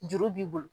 Juru b'i bolo